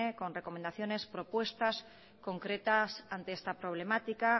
con recomendaciones y propuestas concretas ante esta problemática